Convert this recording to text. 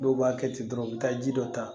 Dɔw b'a kɛ ten dɔrɔn u bɛ taa ji dɔ ta